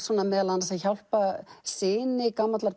meðal annars að hjálpa syni gamallar